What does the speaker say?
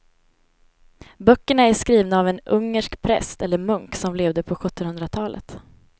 Böckerna är skrivna av en ungersk präst eller munk som levde på sjuttonhundratalet.